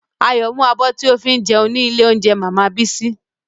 Ayọ̀ mú abọ́ tí o fi jẹun ní ilé óúnjẹ màmá Bísí